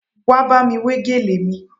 Wá bámi wé gèlè mi